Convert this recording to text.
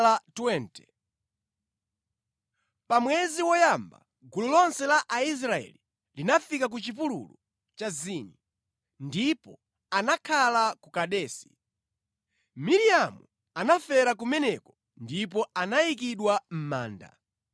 Pa mwezi woyamba gulu lonse la Aisraeli linafika ku chipululu cha Zini, ndipo anakhala ku Kadesi. Miriamu anafera kumeneko ndipo anayikidwa mʼmanda.